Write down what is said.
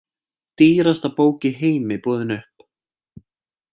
Dýrasta bók í heimi boðin upp